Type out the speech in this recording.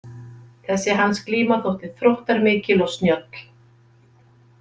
Þessi hans glíma þótti þróttarmikil og snjöll.